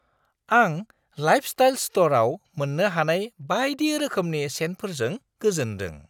आं लाइफस्टाइल स्टरआव मोन्नो हानाय बायदि रोखोमनि सेन्टफोरजों गोजोनदों।